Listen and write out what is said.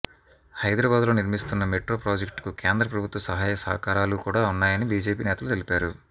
హైదరాబాద్లో నిర్మిస్తున్న మెట్రో ప్రాజెక్టుకు కేంద్ర ప్రభుత్వ సహాయ సహకారాలు కూడా ఉన్నాయని బీజేపీ నేతలు తెలిపారు